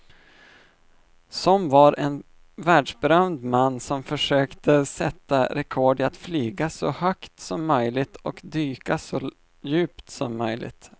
Som var en världsberömd man som försökte sätta rekord i att flyga så högt som möjligt och dyka så djupt som möjligt.